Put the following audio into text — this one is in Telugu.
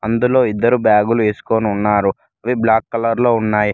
అందులో ఇద్దరు బ్యాగులు ఏసుకొనున్నారు అవి బ్లాక్ కలర్ లో ఉన్నాయ్.